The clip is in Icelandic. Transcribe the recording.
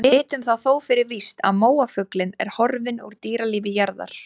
Við vitum það þó fyrir víst að móafuglinn er horfinn úr dýralífi jarðar.